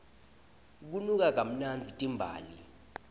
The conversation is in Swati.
tinuka kamnandzi timbali